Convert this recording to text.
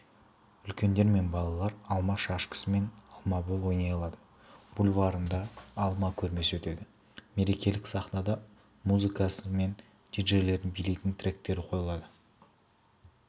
үлкендер мен балалар алма шашкасы мен алмабол ойнай алады бульварында алма көрмесі өтеді мерекелік сахнада маузыкасы мен диджейлердің билейтін тректері қойылады